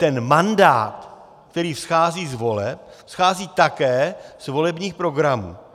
Ten mandát, který vzchází z voleb, vzchází také z volebních programů.